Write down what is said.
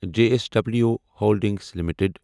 J S W holdings limited